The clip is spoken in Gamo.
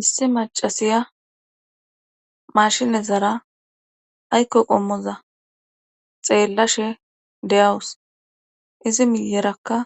issi macasiya mashine zara aykko qommoza xeellashe de7awus izi miyerakka